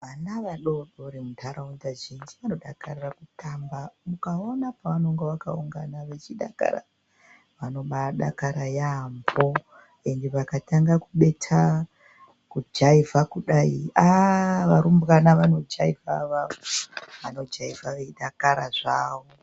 Vana vadodori muntaraunda zhinji vanodakarira kutamba. Ukaona pavanenge vakaungana vachidakara vanobaadakara yaamho, ende vakatanga kubetha kujaivha kudai, aa varumbwana vanojaivha avavo. Vanojaivha veidakara zvavo.